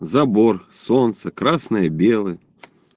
забор солнце красное белое